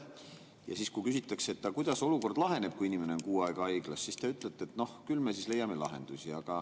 Ja siis, kui küsitakse, kuidas olukord laheneb, kui inimene on kuu aega haiglas, te ütlete, et noh, küll me leiame lahenduse.